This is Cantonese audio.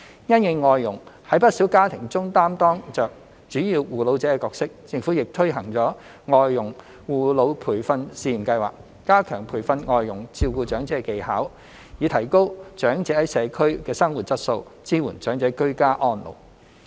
因應外傭在不少家庭中擔當着主要護老者的角色，政府亦推行了外傭護老培訓試驗計劃，加強培訓外傭照顧長者的技巧，以提高長者在社區的生活質素，支援長者"居家安老"。